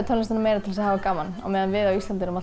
tónlistina til að hafa gaman meðan við á Íslandi erum